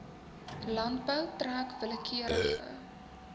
landbou trek willekeurige